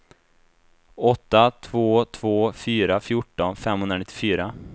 åtta två två fyra fjorton femhundranittiofyra